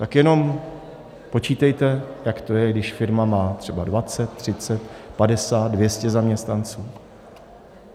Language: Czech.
Tak jenom počítejte, jak to je, když firma má třeba 20, 30, 50, 200 zaměstnanců.